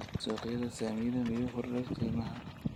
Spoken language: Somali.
suuqayda saamiyada miyuu kordhay qiimaha?